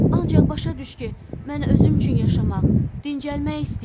Ancaq başa düş ki, mən özüm üçün yaşamaq, dincəlmək istəyirəm.